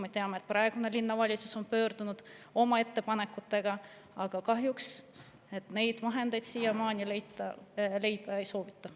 Me teame, et praegune linnavalitsus on ka pöördunud oma ettepanekutega, aga kahjuks neid vahendeid siiamaani leida ei soovita.